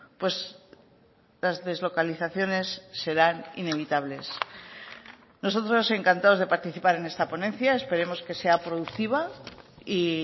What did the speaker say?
pues las deslocalizaciones serán inevitables nosotros encantados de participar en esta ponencia esperemos que sea productiva y